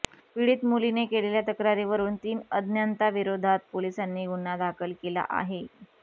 पिडीत मुलीने केलेल्या तक्रारीवरून तीन अज्ञांताविरोधात पोलिसांनी गुन्हा दाखल केला आहे